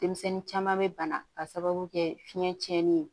Denmisɛnnin caman bɛ bana k'a sababu kɛ fiɲɛ tiɲɛnen ye